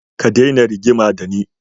Ka daina rigima da ni.